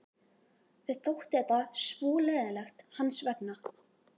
Mér þótti þetta svo leiðinlegt hans vegna.